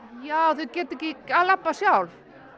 já þau geta ekki labbað sjálf